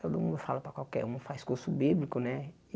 Todo mundo fala para qualquer um, faz curso bíblico, né?